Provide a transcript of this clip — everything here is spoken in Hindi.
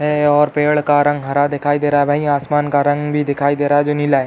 है और पेड़ का रंग हरा दिखाई दे रहा है। वही आसमान का रंग भी दिखाई दे रहा है जो नीला है।